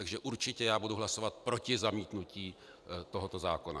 Takže já určitě budu hlasovat proti zamítnutí tohoto zákona.